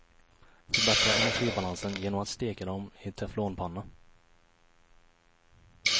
Förbättra energibalansen genom att steka dem i teflonpanna.